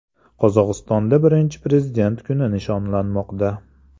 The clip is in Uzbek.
Qozog‘istonda Birinchi prezident kuni nishonlanmoqda.